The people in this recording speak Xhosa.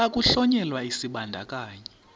xa kuhlonyelwa isibandakanyi